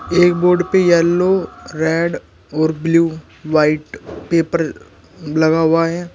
एक बोर्ड पे yellow red blue white paper लगा हुआ है।